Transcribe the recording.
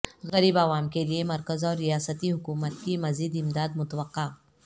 غریب عوام کیلئے مرکز اور ریاستی حکومت کی مزید امداد متوقع